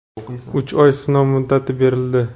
uch oy sinov muddati berildi.